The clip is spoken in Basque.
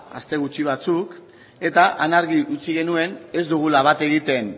aste gutxi batzuk eta han argi utzi genuen ez dugula bat egiten